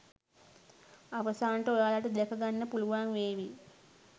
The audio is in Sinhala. අවසානයට ඔයාලට දැක ගන්න පුළුවන් වේවි